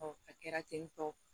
a kɛra ten tɔn